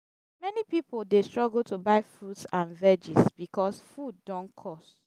many pipo dey struggle to buy fruits and veggies bicos food don cost.